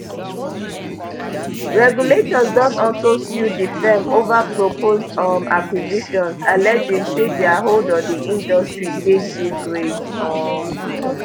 regulators don also sue di firm ova proposed um acquisitions alleging say dia hold on di industry dey too great um